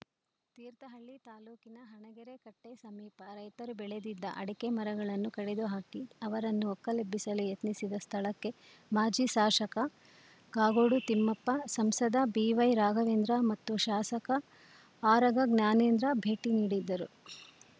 ತೀರ್ಥಹಳ್ಳಿ ತಾಲೂಕಿನ ಹಣಗೆರೆ ಕಟ್ಟೆಸಮೀಪ ರೈತರು ಬೆಳೆದಿದ್ದ ಅಡಕೆ ಮರಗಳನ್ನು ಕಡಿದು ಹಾಕಿ ಅವರನ್ನು ಒಕ್ಕಲೆಬ್ಬಿಸಲು ಯತ್ನಿಸಿದ ಸ್ಥಳಕ್ಕೆ ಮಾಜಿ ಶಾಸಕ ಕಾಗೋಡು ತಿಮ್ಮಪ್ಪ ಸಂಸದ ಬಿವೈರಾಘವೇಂದ್ರ ಮತ್ತು ಶಾಸಕ ಆರಗ ಜ್ಞಾನೇಂದ್ರ ಭೇಟಿ ನೀಡಿದ್ದರು